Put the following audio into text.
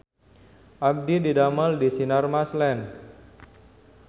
Abdi didamel di Sinarmas Land